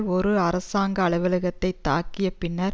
ஒரு அரசாங்க அலுவலகத்தை தாக்கிய பின்னர்